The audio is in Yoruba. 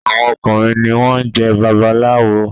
Àwọn ọkùnrin ní wón jé babaláwo